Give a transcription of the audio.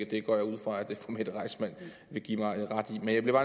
det går jeg ud fra at fru mette reissmann vil give mig ret i men jeg bliver